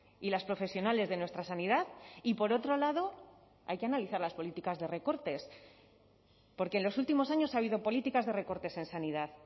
y las profesionales de nuestra sanidad y por otro lado hay que analizar las políticas de recortes porque en los últimos años ha habido políticas de recortes en sanidad